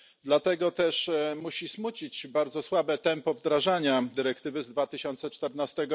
Dlatego też musi smucić bardzo słabe tempo wdrażania dyrektywy z 2014